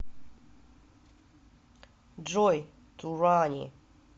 джой туранни